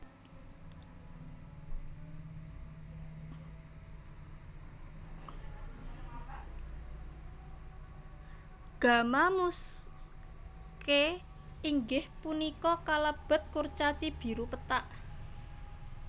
Gamma Muscae inggih punika kalebet kurcaci biru pethak